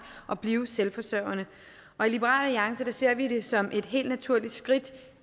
og blive selvforsørgende og i liberal alliance ser vi det som et helt naturligt skridt